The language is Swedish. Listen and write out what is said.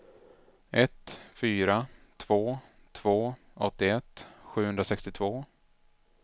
ett fyra två två åttioett sjuhundrasextiotvå